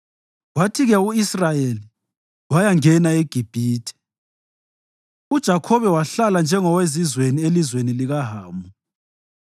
Kwathi-ke u-Israyeli wayangena eGibhithe; uJakhobe wahlala njengowezizweni elizweni likaHamu.